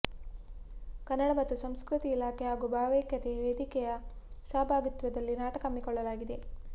ಕನ್ನಡ ಮತ್ತು ಸಂಸ್ಕೃತಿ ಇಲಾಖೆ ಹಾಗೂ ಭಾವೈಕ್ಯತೆ ವೇದಿಕೆಯ ಸಹಭಾಗಿತ್ವದಲ್ಲಿ ನಾಟಕ ಹಮ್ಮಿಕೊಳ್ಳಲಾಗಿತ್ತು